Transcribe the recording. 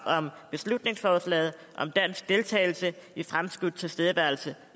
om beslutningsforslaget om dansk deltagelse i en fremskudt tilstedeværelse